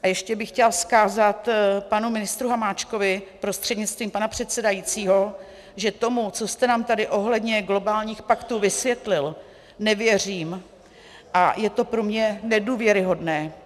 A ještě bych chtěla vzkázat panu ministru Hamáčkovi prostřednictvím pana předsedajícího, že tomu, co jste nám tady ohledně globálních paktů vysvětlil, nevěřím a je to pro mě nedůvěryhodné.